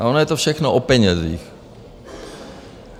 A ono je to všechno o penězích.